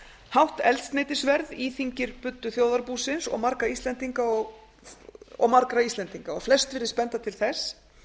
hátt eldsneytisverð íþyngir buddu þjóðarbúsins og marga íslendinga og flest virðist benda til þess